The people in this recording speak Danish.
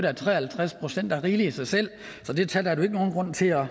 at tre og halvtreds procent er rigeligt i sig selv så det tal er der jo ikke nogen grund til at